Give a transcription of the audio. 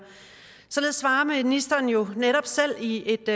således svarer ministeren jo netop selv i et